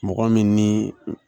Mɔgɔ min ni